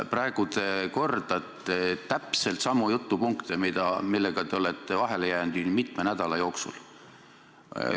Praegu te kordate täpselt samu jutupunkte, millega te olete vahele jäänud mitme nädala jooksul.